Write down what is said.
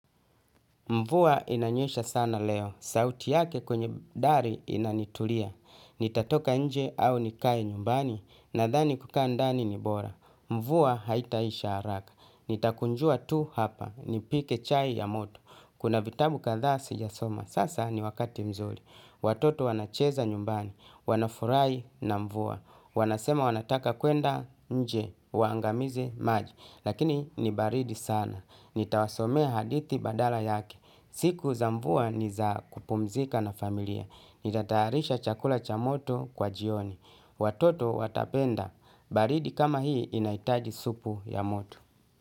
Mvua inanyesha sana leo. Sauti yake kwenye dari inanitulia. Nitatoka nje au nikae nyumbani. Nadhani kukaa ndani ni bora. Mvua haitaisha haraka. Nitakunjua tu hapa. Nipike chai ya moto. Kuna vitabu kadhaa sijasoma. Sasa ni wakati mzuri. Watoto wanacheza nyumbani. Wanafurahi na mvua. Wanasema wanataka kwenda nje. Waangamize maji. Lakini ni baridi sana. Nitawasomea hadithi badala yake. Siku za mvua ni za kupumzika na familia. Nitatayarisha chakula cha moto kwa jioni. Watoto watapenda. Baridi kama hii inaitaji supu ya moto.